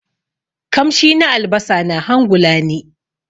kamshi na albasa na hangula ni.